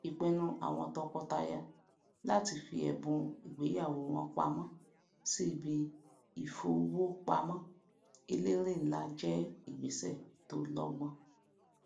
ìpinnu àwọn tọkọtaya láti fi ẹbùn ìgbéyàwó wọn pamọ sí ibi ìfowópamọ elérè nlá jé ìgbéṣè tó lọgbọn